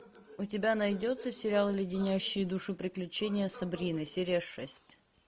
у тебя найдется сериал леденящие душу приключения сабрины серия шесть